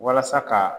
Walasa ka